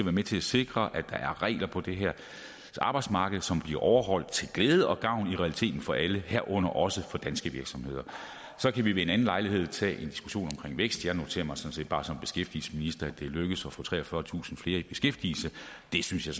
er med til at sikre at der er regler på det her arbejdsmarked som bliver overholdt til glæde og gavn i realiteten for alle herunder også for danske virksomheder så kan vi ved en anden lejlighed tage en diskussion omkring vækst jeg noterer mig sådan set bare som beskæftigelsesminister at det er lykkedes at få treogfyrretusind flere i beskæftigelse det synes jeg